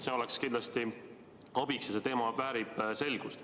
See oleks kindlasti abiks, sest see teema väärib selgust.